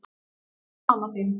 Eins og mamma þín.